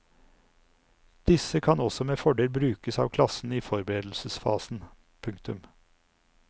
Disse kan også med fordel brukes av klassen i forberedelsesfasen. punktum